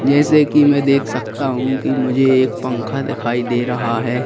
जैसे कि मैं देख सकता हूं कि मुझे एक पंखा दिखाई दे रहा है।